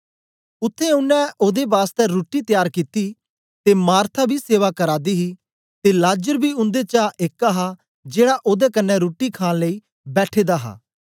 उत्थें उनै ओदे बासतै रुट्टी त्यार कित्ती ते मार्था बी सेवा करा दी ही ते लाजर बी उन्देचा एक हा जेड़ा ओदे कन्ने रुट्टी खाण लेई बैठे दा हा